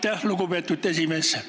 Aitäh, lugupeetud esimees!